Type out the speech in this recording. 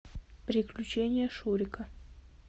приключения шурика